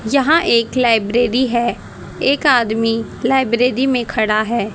यहां एक लाइब्रेरी है एक आदमी लाइब्रेरी में खड़ा है।